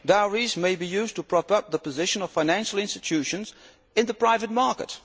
Dowries may be used to prop up the position of financial institutions in the private market.